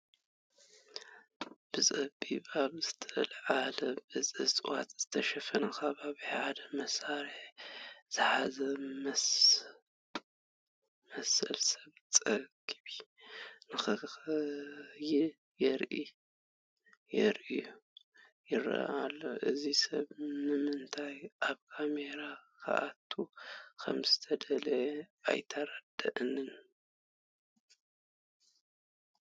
ብፀቢብ ኣብ ዝተለዓለ ብእፅዋት ዝተሸፈነ ከባቢ ሓደ መሳርያ ዝሓዘ ዝመስል ሰብ ገፁ ንንክየ ገይሩ ይርአ ኣሎ፡፡ እዚ ሰብ ንምንታይ ኣብ ካሜራ ክኣቱ ከምዝተደለየ ኣይተረድአንን፡፡